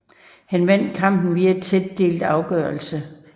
Han vandt kampen via en tæt delt afgørelse